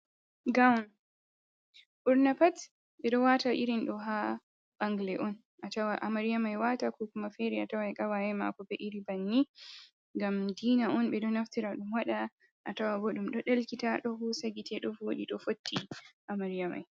Gawn ɓurna pat, ɓe ɗo wata irin do ha bangla'on on a tawan amariya mai wata ko kuma fere a tawai kawaye mako be iri banni ngam dina on ɓe ɗo naftira ɗum waɗa a tawa ɗum ɗo delkita ɗo hosa gite ɗo voɗi ɗo fotti amariya mai.